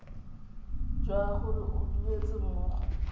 jwa gore o duetse mmogo